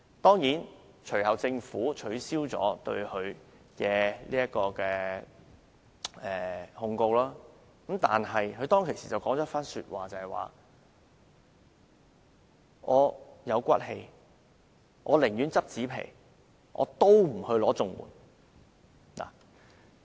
當然，政府最後撤銷了對她的檢控，但她當時說："我有骨氣，寧願撿紙皮，也不申請綜援。